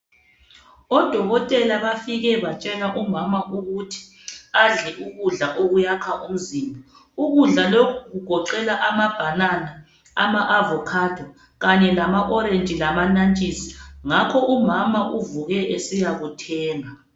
Odokotela bafike batshela umama ukuthi adle ukudla okuyakha umzimba ukudla lokhu kugoqela ama banana, ama avocado kanye lama orange lama nantshisi ngakho umama uvuke esiyakuthenga.